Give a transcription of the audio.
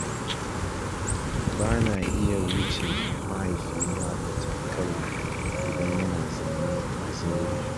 Ba na iya wuce mahaifina da takalma idan yana zaune a zaure.